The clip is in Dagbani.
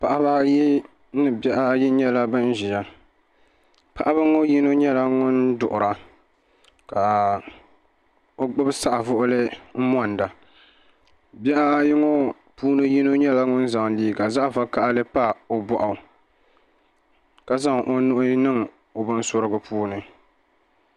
Paɣabaayi ni bihi ayi nyela ban ʒiya paɣaba ŋɔ yino nyela ŋun duɣira ka o gbubi saɣivuɣuli n monda bihi ayi ŋɔ puuni yino nyela ŋun zaŋ liiga vokaɣili m pa o bɔɣu ka zaŋ o nuhi niŋ o binsurigu puuni.